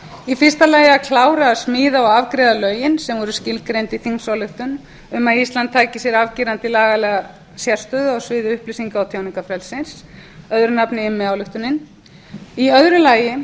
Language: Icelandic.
í fyrsta lagi að klára að smíða og afgreiða lögin sem voru skilgreind í þingsályktun um að ísland tæki sér afgerandi lagalega sérstöðu á sviði upplýsinga og tjáningarfrelsis öðru nafni immi ályktunin í öðru lagi